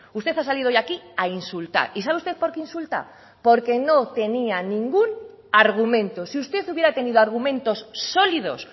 usted ha salido hoy aquí a insultar y sabe usted porque insulta porque no tenía ningún argumento si usted hubiera tenido argumentos sólidos